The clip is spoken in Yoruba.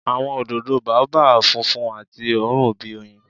Awọn ododo Baobab funfun ati oorun bi oyin.